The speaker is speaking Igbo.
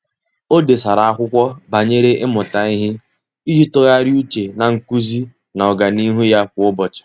Ọ́ dèsara ákwụ́kwọ́ banyere ị́mụ́ta ihe iji tụ́gharị́a úchè na nkuzi na ọ́gànihu ya kwa ụ́bọ̀chị̀.